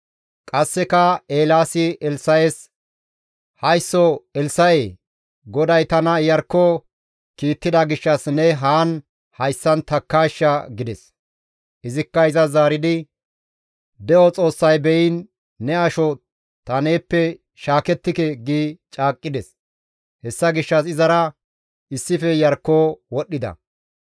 Qasseka Eelaasi Elssa7es, «Haysso Elssa7ee! GODAY tana Iyarkko kiittida gishshas ne haan hayssan takkaashsha» gides. Izikka izas zaaridi, «De7o Xoossay beyiin, ne asho ta neeppe shaakettike» gi caaqqides; hessa gishshas izara issife Iyarkko wodhdhida.